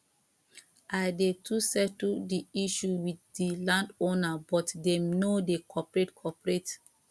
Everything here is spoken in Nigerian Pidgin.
i dey to settle di issue with di landowner but dem no dey cooperate cooperate